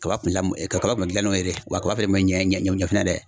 Kaba kun lamu kaba kun bɛ gilan n'o ye de wa a kaba fɛnɛ kun bɛ ɲɛ ɲɛ fɛnɛ yɛrɛ.